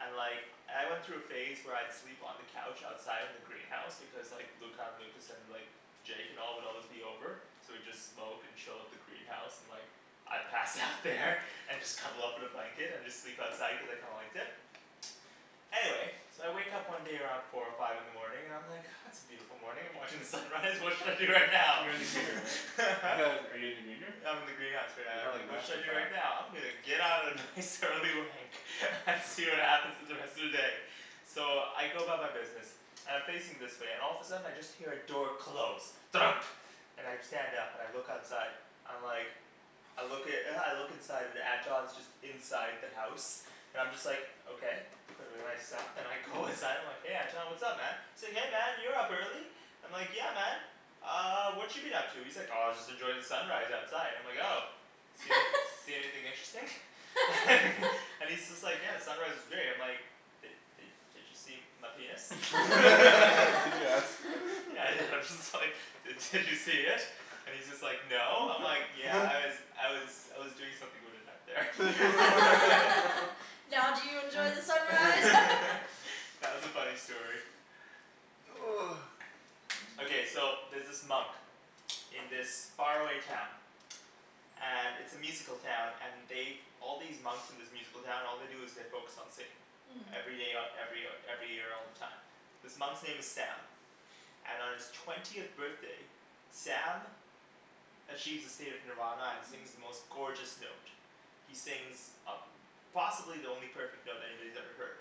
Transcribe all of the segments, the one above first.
And like I went through a phase where I'd sleep on the couch outside in the greenhouse, because like Luca and Lucas and like Jake and all would always be over. So we'd just smoke and chill at the greenhouse, and like I'd pass out there and just cuddle up in a blanket and just sleep outside cuz I kinda liked it. Anyway So I wake up one day around four or five in the morning, and I'm like "Ah it's a beautiful morning, I'm watching the sunrise, what should I do right now?" You're in the green room, right? Are you in the green room? I'm in the greenhouse right now. I'm Have a like "What should master I do fap. right now? I'm gonna get out a nice early wank and see what happens in the rest of the day." So I go about my business. And I'm facing this way, and all of a sudden I just hear a door close. Thunk. And I stand up and I look outside. I'm like I look i- I look inside, and Anton's just inside the house. I'm just like, okay. Put away my stuff and I go inside, I'm like "Hey Anton, what's up man?" Say "Hey man, you're up early." I'm like, "Yeah man." "Uh what you been up to?" He's like "Oh just enjoying the sunrise outside." I'm like "Oh." "See anyth- see anything interesting?" And he's just like, "Yeah, the sunrise was great." And I'm like "Did did did you see my penis?" Did you ask "Yeah I did." I'm just like "Did did you see it?" And he's just like "No." I'm like "Yeah, I was I was I was doing something with it out there." Now do you enjoy the sunrise? That was a funny story. Okay, so there's this monk in this far away town. And it's a musical town, and they've All these monks in this musical town, all they do is they focus on singing. Mmm. Every day, o- every o- every year all the time. This monk's name is Sam. And on his twentieth birthday Sam achieves a state of nirvana and sings the most gorgeous note. He sings a- possibly the only perfect note anybody's ever heard.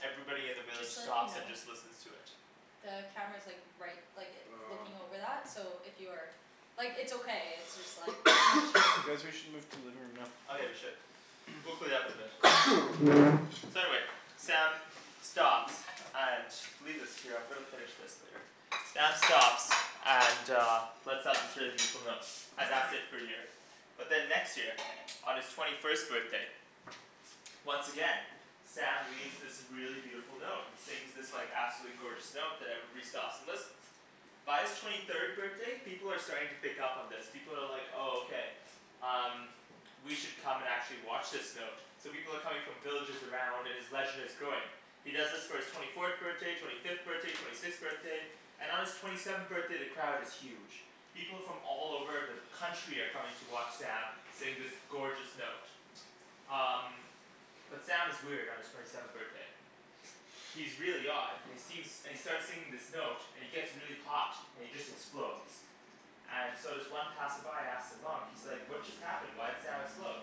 Everybody in the village Just to let you stops and know just listens to it. the camera's like right, like it, Oh. looking over that, so if you are Like it's okay, it's just like Guys we should move to the living room now. Oh yeah we should. We'll clean it up eventually. So anyway. Sam stops. And, leave this here, I'm gonna finish this later. Sam stops and uh And that's it for a year. But then next year, on his twenty first birthday once again Sam leaves this really beautiful note, and sings this like absolutely gorgeous note that everybody stops and listens. By his twenty third birthday, people are starting to pick up on this. People are like "Oh okay, um, we should come and actually watch this note." So people are coming from villages around, and his legend is growing. He does this for his twenty fourth birthday, twenty fifth birthday, twenty sixth birthday. And on his twenty seventh birthday the crowd is huge. People from all over the country are coming to watch Sam sing this gorgeous note. Um But Sam is weird on his twenty seventh birthday. He's really odd, and he seems, and he starts singing this note, and he gets really hot, and he just explodes. And so this one passerby asks the monk, he's like "What just happened? Why'd Sam explode?"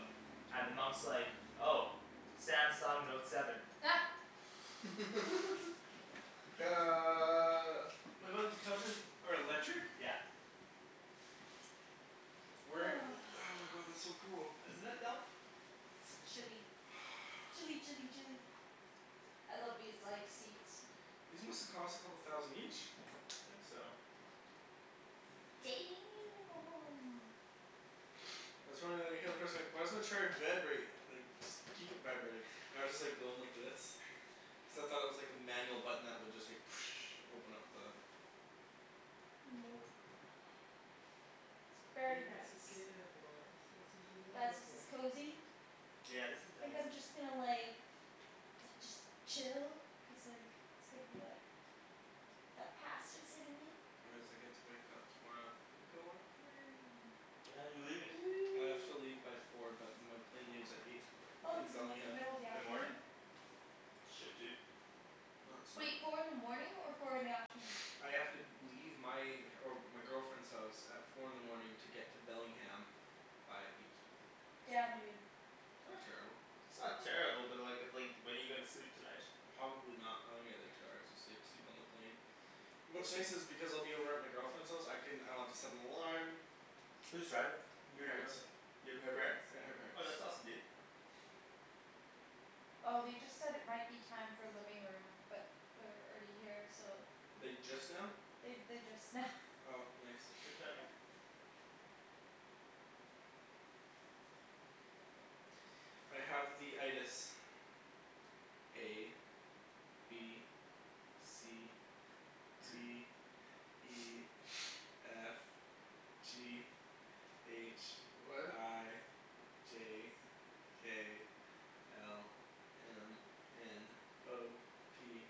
And the monk's like, "Oh. Sam sung note seven." these couches are electric? Yeah. Where, oh my god, that's so cool. Isn't it though? It's chilly. Chilly chilly chilly. I love these like seats. These must have cost a couple thousand each. I think so. why does my chair vibrate, like just keep it vibrating. I was just like going like this. except I thought it was like a manual button that would just like open up the Nope. It's He very was a nice. skater boy, I said see you Guys, later this is boy. cozy. Yeah, this is Think nice. I'm just gonna like da- just chill. Cuz like, it's gonna be like That pasta's hitting me. get to wake up tomorrow and go on a plane. What time are you leaving? I have to leave by four but my plane leaves at eight. Oh From it's in like the Bellingham. middle of the In the morning? afternoon. Shit dude. No, it's fine Wait, dude. four in the morning or four in the afternoon? I have to leave my, or my girlfriend's house at four in the morning to get to Bellingham by eight. Damn, dude. Not terrible. It's not terrible, but like, it's like when are you gonna sleep tonight? Probably not. I'm gonna get like two hours of sleep. Sleep on the plane. What's What's nice this? is because I'll be over at my girlfriend's house, I can, I don't have to set an alarm. Who's driving? You or your Parents. girlfriend? You up at her parents'? Yeah, her parents. Oh that's awesome dude. Oh they just said it might be time for living room, but we're already here, so Like just now? They they, just now. Oh nice. Good timing. I have the A. B. C. D. E. F. G. H. What? I. J. K. L. M. N. O. P.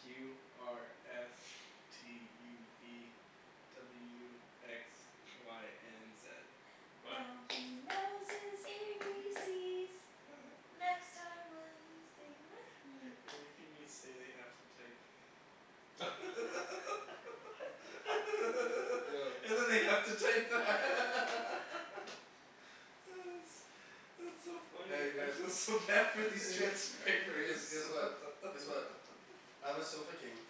Q R S. T U V. W X. Y and Z. What? Now he knows his A B C's. Next time will you sing with me? Everything we say they have to type. Yo And then they have to type that. That's that's so funny. Hey you I feel guys. so bad for these You transcribers. guys. Guess what, guess what. I'm a sofa king.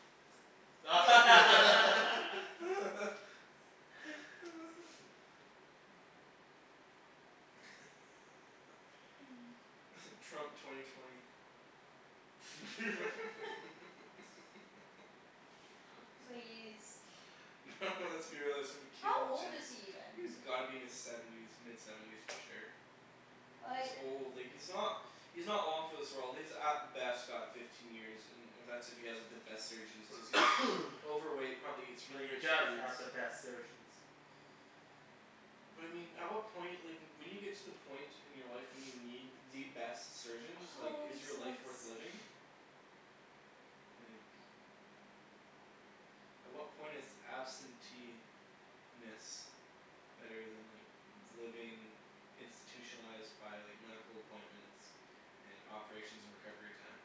Mmm. Trump twenty twenty. Please. No let's be realistic, it's gonna How be Caitlyn old is Jenner. he even? He's gotta be in his seventies, mid seventies for sure. He's Like old, like he's not he's not long for this world. He's at best got fifteen years, and that's if he has the best surgeons, cuz he's overweight, probably eats But really he rich does foods. have the best surgeons. But I mean, at what point, like when you get to the point in your life when you need the best surgeons, like is Holy your life smokes. worth living? Like At what point is absentee - ness better than like living institutionalized by like medical appointments and operations and recovery time?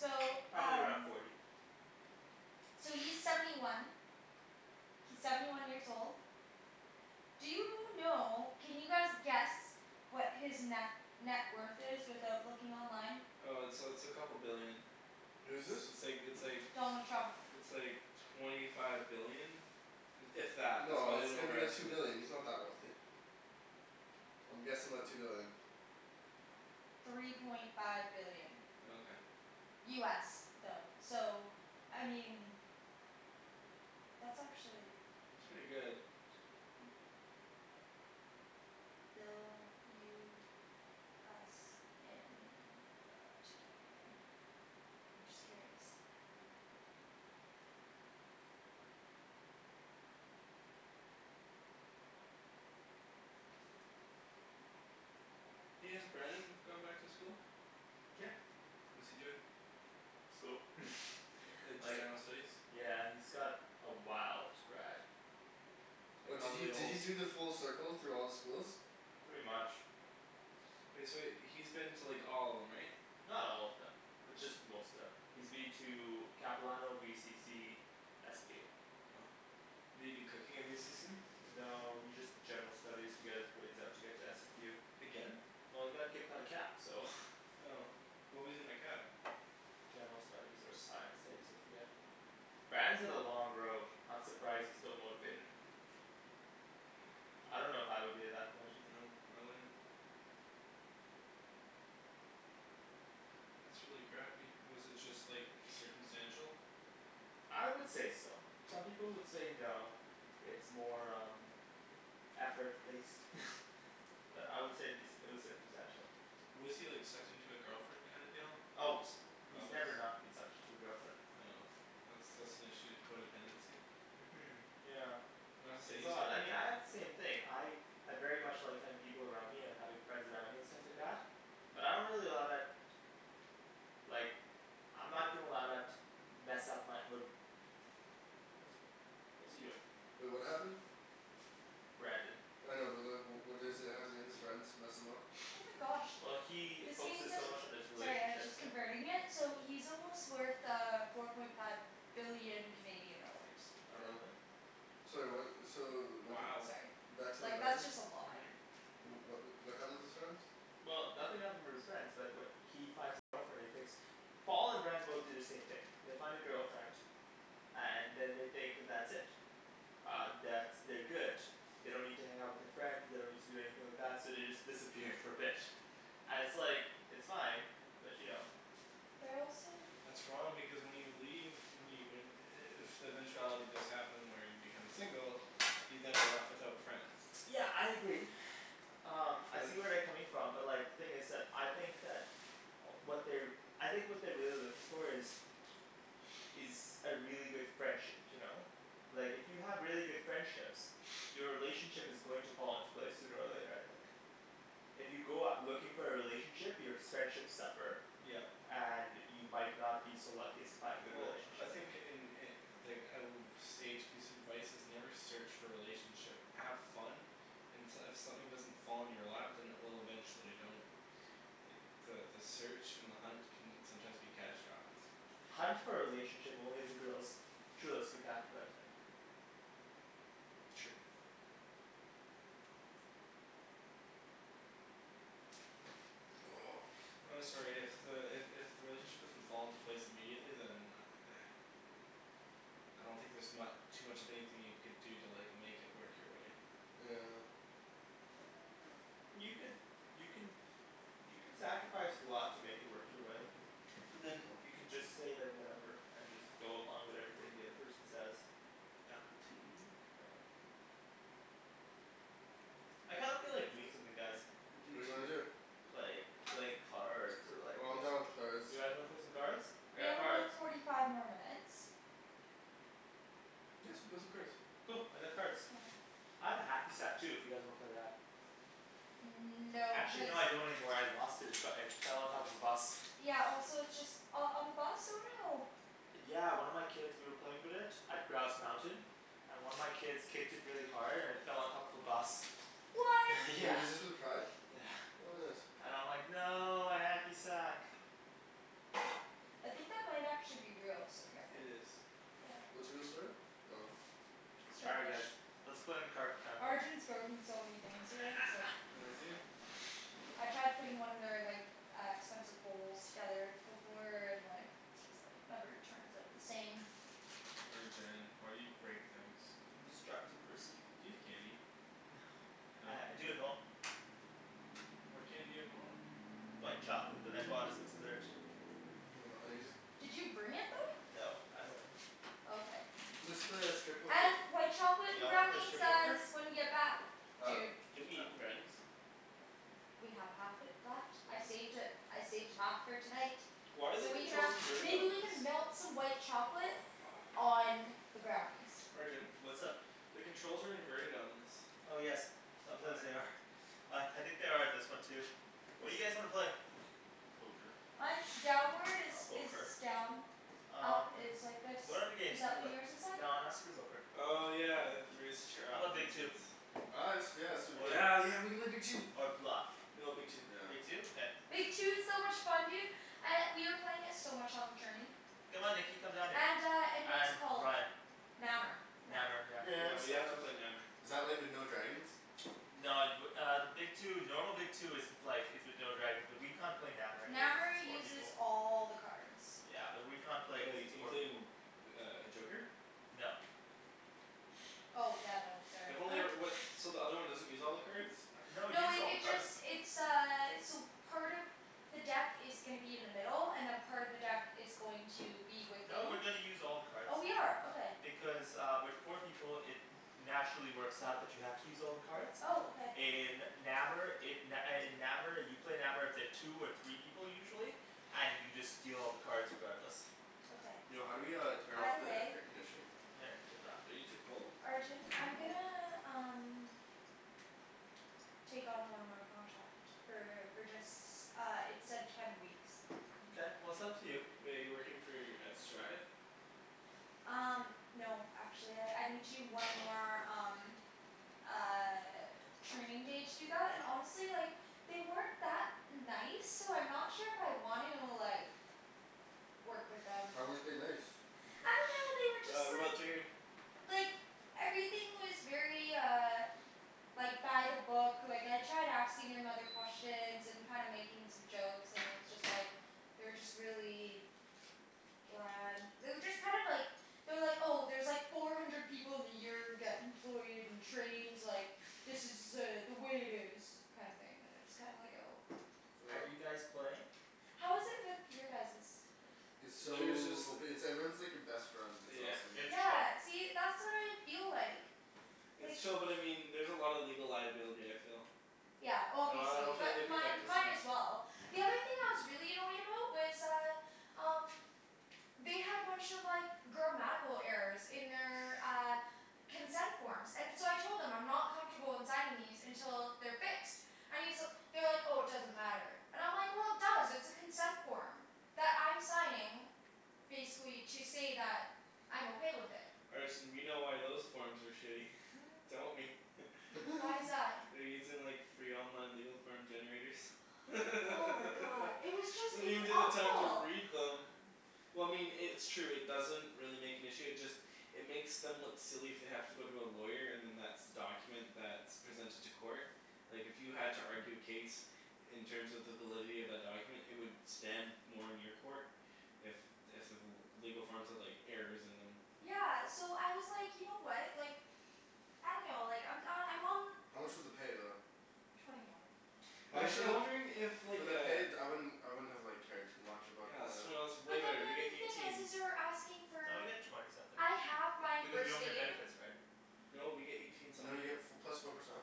So Probably around um forty. So he's seventy one. He's seventy one years old. Do you know, can you guys guess what his ne- net worth is without looking online? Uh it's uh it's a couple billion. Who's this? It's like, it's like Donald Trump. it's like twenty five billion. If that. That's No, probably it's an gotta be like two overestimate. billion, he's not that wealthy. I'm guessing like two billion. Three point five billion. Oh okay. US though. So I mean that's actually It's pretty good. Bill US in uh to Canadian. I'm just curious. Hey, has Brandon gone back to school? Yeah. What's he doing? School. Like just Like general studies? Yeah he's got a while to grad. And Oh did he probably a did he whole do the full circle through all the schools? Pretty much. Wait, so he's been to like all of them, right? Not all of them. Just most of them. He's been to Capilano, VCC SFU Did he do cooking at VCC? No he just did general studies to get his grades up to get to SFU Again? Well he got kicked out of Cap so. Oh. What was he in at Cap? General studies or science studies, I forget. Brandon's had a long road. I'm surprised he's still motivated. I don't know if I would be at that point. No, I wouldn't. That's really crappy. Was it just like circumstantial? I would say so. Some people would say no. It's more um effort based. But I would say it'd be, it was circumstantial. Was he like sucked into a girlfriend kind of deal? Always. He's Always? never not been sucked into a girlfriend. Oh. That's that's an issue, codependency. Mhm yeah. It's all that, I mean I codependent. had the same thing, I I very much like having people around me and having friends around me and stuff like that. But I don't really allow that like I'm not gonna allow that to mess up my, wh- What's he doing? Wait, what happened? Brandon. I know but like, wh- what is it, how did his friends mess him up? Oh my gosh. Well he This means focuses that so he's much on his Sorry I was relationship, just yeah. converting it, so he's almost worth uh four point five billion Canadian dollars. Oh really? Sorry what, so wh- y- Sorry. Back to the Like that's Brandon? just a lot. What wh- what happened with his friends? Well, nothing happened with his friends, but wh- he finds a girlfriend, he thinks Paul and Brandon both do the same thing. They find a girlfriend. And then they think that's it. Um, that's, they're good. They don't need to hang out with their friends, they don't need to do anything like that, so they just disappear for a bit. And it's like, it's fine, but you know. They're also That's wrong because when you leave, when you when i- if the eventuality does happen where you become single you then are left without friends. Yeah I agree. Um I But see where they're coming from but like, the thing is that, I think that what they're I think what they're really looking for is is a really good friendship, you know? Like if you have really good friendships your relationship is going to fall into place sooner or later, I think. If you go out looking for a relationship, your s- friendships suffer. Yep. And you might not be so lucky as to find a good Well I relationship. think in i- like a w- sage piece of advice, is never search for a relationship. Have fun and s- if something doesn't fall in your lap, then it will eventually. Don't like, the the search and the hunt can sometimes be catastrophic. Hunt for a relationship only if the girl's truly spectacular, I think. True. I'm sorry, if the, i- if the relationship doesn't fall into place immediately, then I don't think there's mu- too much of anything you could do to like make it work your way. Yeah. You could, you can you can sacrifice a lot to make it work your way. But then You can just say that whatever, and just go along with everything the other person says. Apple TV Yeah. I kind of feel like doing something, guys. I do What do you wanna too. do? Like, like cards or like, Oh I'm yes done with cards. You guys wanna play some cards? We have about forty five more minutes. Yeah, let's go play some cards. Cool, I got cards. I have a hacky sack too if you guys wanna play that. Mmm no, Actually because no, I don't anymore, I lost it. It's got, it fell on top of a bus. Yeah also it's just, oh on the bus? Oh no. Yeah one of my kids, we were playing with it at Grouse Mountain. And one of my kids kicked it really hard and it fell on top of a bus. What? Wait, Yeah. was this with pride? Yeah. What bus? And I'm like "No, my hacky sack!" I think that might actually be real, so It careful. is. What's real, sorry? Oh. All right guys. Let's play in the Arjan's broken so many things here, it's like Has he? I tried putting one of their like, uh expensive bowls together before, and like just like, never turns out the same. Arjan, why do you break things? I'm a destructive person. Do you have candy? Uh No? I do at home. What candy do you have at home? White chocolate that I bought as a dessert. Hold on, I need to just Did you bring it though? No, at home. Okay. Let's play uh strip poker. And white chocolate Y'all wanna play brownies strip poker? guys, when you get back. Huh? Dude. Didn't we eat the brownies? We have half it left, I saved it, I saved half for tonight. Why are the So we can controls have, inverted maybe on we this? can melt some white chocolate on the brownies. Arjan? What's up? The controls are inverted on this. Oh yes, sometimes Why? they are. Uh I think they are on this one too. What do you guys wanna play? Poker. Mine's downward is, I'll poke is her. done. Up Um is like this, What other games is do you that what play? yours is like? No not strip poker. Oh yeah, raise the chair How up, 'bout that Big makes Two? sense. Oh yeah, let's do yeah let's do Big Two. Yeah yeah, we could play Big Two. Or Bluff. No, Big Two. Yeah. Big Two? Okay. Big Two is so much fun dude. Uh, we were playing it so much on the train. Come on Nikki, come down here. And uh and what's it And called? Ryan. Nammer. Nammer, yeah. No, I Yeah we missed have to out. play Nammer. Is that like with no dragons? No, y- w- uh Big Two, normal Big Two isn't like, is with no dragons, but we can't play Nammer anyway cuz Nammer it's four uses people. all the cards. Yeah and we can't play because Like, it's four people. including uh joker? No. Oh yeah, no, sorry. I've only e- what, so the other one doesn't use all the cards? No, it No uses it all the it cards. just, it's uh, so part of the deck is gonna be in the middle, and then part of the deck is going to be with No, we're you. gonna use all the cards. Oh we are, okay. Because uh with four people, it naturally works out that you have to use all the cards. Oh, okay. In Nammer it, n- uh in Nammer you play Nammer with the two or three people usually. And you just deal all the cards regardless. Okay. Yo, how do we uh turn By off the the way air conditioning? Are you too cold? Arjan, Yeah, I'm I'm cold. gonna um take on one more contract. For for just, uh it said ten weeks. Mkay, well it's up to you. Wait, you're working for, at Strive? Um no actually, I I need to do one more, um uh training day to do that, and honestly, like they weren't that nice, so I'm not sure if I want to, like work with them. How weren't they nice? I dunno, they were Ah, just like remote's right here. like everything was very uh like by the book, like I tried asking him other questions and kinda making some jokes, and it was just like they were just really bland. They were just kind of like they're like, "Oh, there's like four hundred people in the year who get employed and trained, like, this is uh the way it is." kinda thing, and it's kinda like, oh. Are Oh. you guys playing? How is it with your guys's? It's There's just so ope- it's like everyone's like your best friend, it's Yeah. awesome. It's chill. Yeah, see, that's what I feel like. It's like chill but I mean, there's a lot of legal liability, I feel. Yeah, I obviously, don't feel like they but mine protect us mine enough. as well. The other thing I was really annoyed about was uh um they had a bunch of like grammatical errors in their, uh consent forms. And so I told them, I'm not comfortable in signing these until they're fixed. I mean, so, they were like "Oh, it doesn't matter." And I'm like "Well, it does, it's a consent form." That I'm signing basically to say that I'm okay with it. Arjan we know why those forms are shitty. Don't we? Why is that? They're using like free online legal form generators. They Oh my god. It was just don't it was even take the time to awful. read them. Well I mean i- it's true, it doesn't really make an issue, it just it makes them look silly if they have to go to a lawyer and then that's the document that's presented to court. Like if you had to argue a case in terms of the validity of that document, it would stand more in your court if if the l- legal forms had like errors in them. Yeah so I was like, you know what, like I dunno, like I'm uh, I'm on How much was the pay though? twenty one. I mean Actually for I'm the wondering if for like the uh pay d- I wouldn't, I wouldn't have like cared too much about Yeah it's the twenty one's way But then better. the We get other thing is eighteen. is they're asking No, you for get twenty something. I have my Because you first don't get aid. benefits, right? No, we get eighteen You know you something. get f- plus four percent.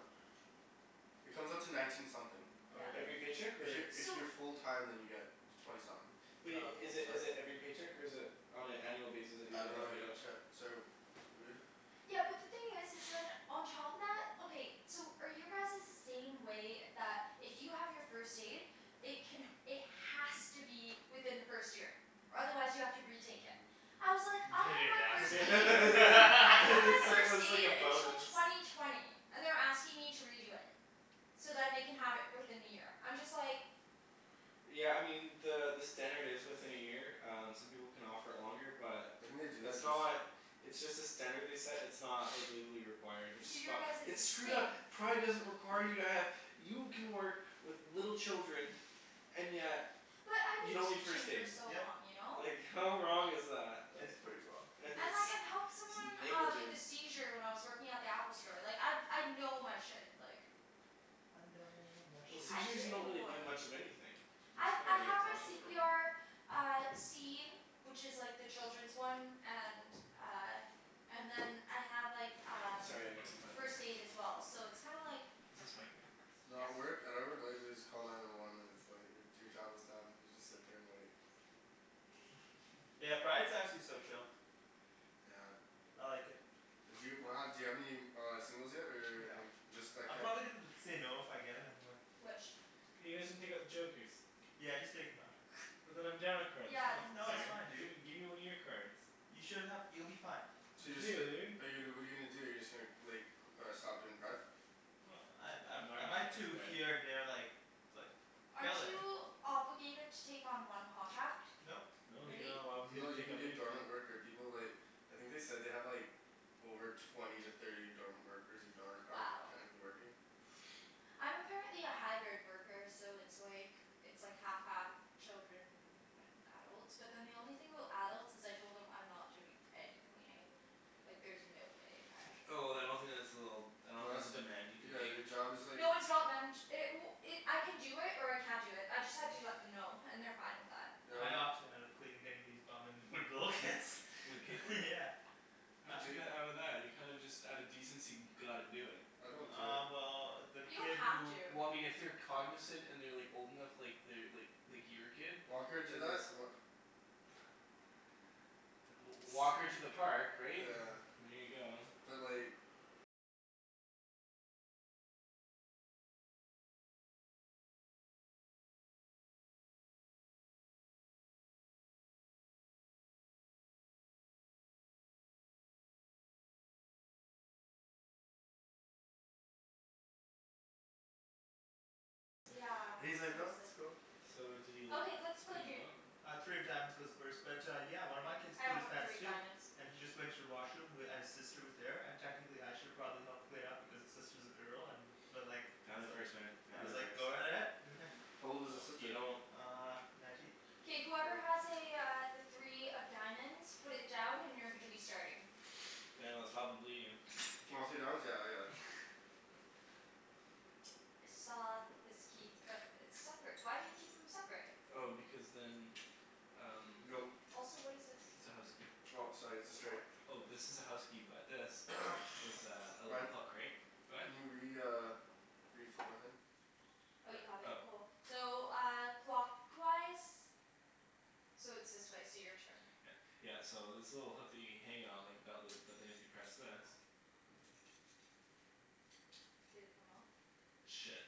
It comes out to nineteen something. Oh Yeah. really? Every paycheck If y- or? if So you're full time then you get twenty something. Wait, i- is it is Sorry? it every paycheck or is it on an annual basis that you I get don't that know I paid get a out? check, sorry wh- Yeah, but the thing is is then, on top of that, okay, so are your guys's the same way, that if you have your first aid it can, it has to be within the first year? Or otherwise you have to retake it. I was like, I Didn't have even my ask first me They aid. I have my said it first was like aid a until bonus. twenty twenty. And they're asking me to redo it. So then they can have it fourth in the year. I'm just like Yeah I mean, the the standard is within a year, um some people can offer it longer, but I think they do it's that just not it's just a standard they set, it's not like legally required, which is So your fucked. guys's It's is the screwed same. up! Pride doesn't require you to have, you can work with little children and yet But I've you been don't need first teaching for aid. so Yep. long, you know? Like how wrong is that? It's pretty wrong. Like it's And like I've helped someone uh with a negligent. seizure when I was working at the Apple store. Like I I know my shit, like I know my Well, shit. I seizures you don't really do. do much of anything. You I just I kinda have like my watch c over p 'em. r Uh, C. Which is like the children's one, and uh and then I have like Oh um sorry I gotta plug this first in. aid as well. So it's kinda like Is this my thing? No, at Yep. work, at our work all you have to do is call nine one one and it's like your job is done, you just sit there and wait. Yeah, Pride's actually so chill. Yeah. I like it. D'you do you have any uh singles yet or No. any, just that I'm kid? probably gonna end up saying no if I get him anyway. Which? You guys didn't take out the jokers. Yeah just take 'em out. And then I'm down a card, that's Yeah, not then No it's it's fair. um fine dude. Gimme gimme one of your cards. You should have, you'll be fine. So you're just f- Dude. but you what are you gonna do, you're just gonna like c- stop doing pride? Well, I I I'm not I might do here and gonna there, like like Aren't fill in. you obligated to take on one contract? Nope. No, you're Really? not allowed to No, you take can on be a anything. dormant worker, people like I think they said they have like over twenty to thirty dormant workers, who darn- aren't Wow. technically working. I'm apparently a hybrid worker, so it's like it's like half half children and adults. But then the only thing about adults is I told them I'm not doing any cleaning. Like there's no way in heck. Oh then I don't think that's a little, I don't No think that's that's a demand you can Yeah make. your job is like No, it's not man- ch- it w- it, I can do it, or I can't do it, I just had to let them know and they're fine with that. Yeah what I do opted out of cleaning anybody's bum and with little kids. With Kaitlyn? Yeah. How did you Do they get out of that? You kinda just out of decency gotta do it. I don't do it. Uh well the You kid don't have who to. Well I mean if they're cognizant and they're like old enough, like they're like like your kid. Walker do Then that's that? Wha- w- walk her to the park, right? Yeah. And there you go. But like Yeah, And he's like "No, seriously. that's cool." So did he like Okay, let's play, clean them dude. out? Uh three of diamonds goes first but yeah, one of my kids I pooed don't his have pants three of too. diamonds. And he just went to the washroom, w- and his sister was there, and technically I should have probably helped clean up because his sister's a girl, and but like I Family was like, first man, I family was like first. "Go ahead." How old was his No, you sister? don't Uh nineteen? K whoever has Oh. a uh, the three of diamonds, put it down and you're gonna be starting. Daniel, it's probably you. Oh, three of diamonds? Yeah I got it. I saw this key, but it's separate. Why do you keep them separate? Oh because then um Go. Also what is this? it's a house key. Oh sorry it's a It's a straight. what? Oh, this is a house key, but this is a, a little Ryan. hook, right? Go ahead. Can you re- uh reflip my thing? Oh you have it? Oh. Cool. So uh, clockwise? So it's this way, so your turn. Yeah. Yeah, so this little hook that you hang it on like a belt loop. But then if you press this Did it come off? Shit.